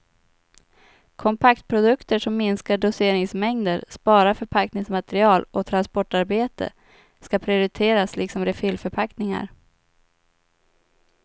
Kompaktprodukter som minskar doseringsmängder, sparar förpackningsmaterial och transportarbete skall prioriteras liksom refillförpackningar.